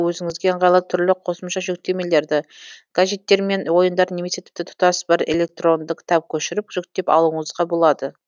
өзіңізге ыңғайлы түрлі қосымша жүктемелерді гаджеттер мен ойындар немесе тіпті тұтас бір электронды кітап көшіріп жүктеп алуыңызға болады